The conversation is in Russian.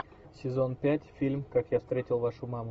сезон пять фильм как я встретил вашу маму